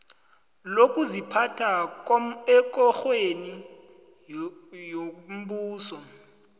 lokuziphatha ekorweni yombuso